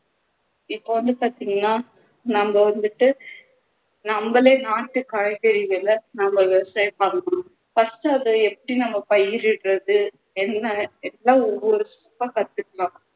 இப்போ வந்து பாத்திங்கண்ணா நம்ம வந்துட்டு நம்மளே நாட்டுக் காய்கறிகளை நம்ம விவசாயம் பண்ணணும் first அதை எப்படி நம்ம பயிரிடுறது என்ன எல்லாம் ஒவ்வொரு step ஆ கத்துக்கலாம்